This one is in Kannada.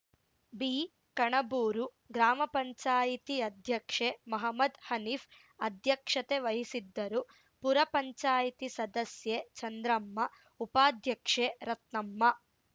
ಬಿಕಣಬೂರು ಗ್ರಾಮ ಪಂಚಾಯತಿ ಅಧ್ಯಕ್ಷೆ ಮಹಮ್ಮದ್‌ ಹನೀಫ್‌ ಅಧ್ಯಕ್ಷತೆ ವಹಿಸಿದ್ದರು ಪುರ ಪಂಚಾಯತಿ ಸದಸ್ಯೆ ಚಂದ್ರಮ್ಮ ಉಪಾಧ್ಯಕ್ಷೆ ರತ್ನಮ್ಮ